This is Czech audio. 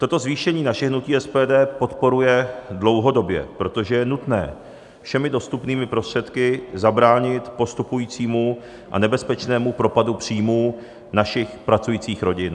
Toto zvýšení naše hnutí SPD podporuje dlouhodobě, protože je nutné všemi dostupnými prostředky zabránit postupujícímu a nebezpečnému propadu příjmů našich pracujících rodin.